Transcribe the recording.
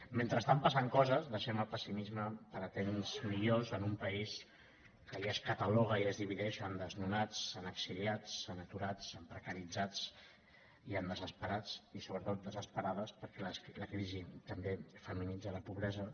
mentrestant passen coses deixem el pessimisme per a temps millors en un país que ja es cataloga i ja es divideix en desnonats en exiliats en aturats en precaritzats i en desesperats i sobretot desesperades perquè la crisi també feminitza la pobresa